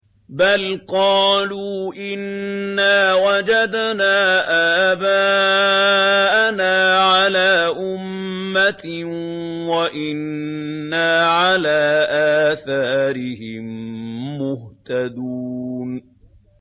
بَلْ قَالُوا إِنَّا وَجَدْنَا آبَاءَنَا عَلَىٰ أُمَّةٍ وَإِنَّا عَلَىٰ آثَارِهِم مُّهْتَدُونَ